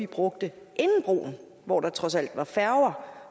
brugte inden broen hvor der trods alt var færger